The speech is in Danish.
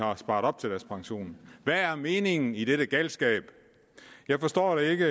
have sparet op til deres pension hvad er meningen i denne galskab jeg forstår det ikke